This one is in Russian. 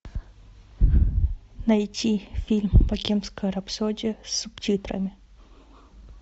найти фильм богемская рапсодия с субтитрами